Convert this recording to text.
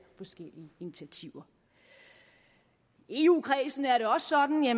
forskellige initiativer i eu kredsen er det også sådan at